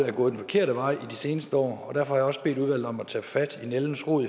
er gået den forkerte vej i de seneste år derfor har jeg også bedt udvalget om at tage fat om nældens rod